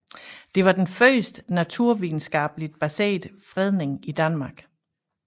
Det var den første naturvidenskabeligt baserede fredning i Danmark